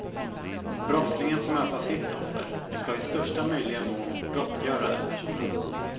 Brottslingen får möta sitt offer och ska i största möjliga mån gottgöra den personen.